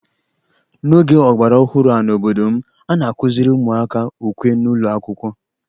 N'oge ọgbaraọhụrụ a n'obodo m, a na-akụziri ụmụaka ukwe n'ụlọ akwụkwọ